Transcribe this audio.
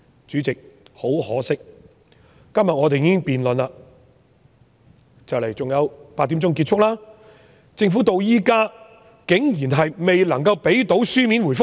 主席，很可惜，我們今天已經辯論預算案，辯論在晚上8時就結束，政府竟然至今未能夠向我們提供書面答覆。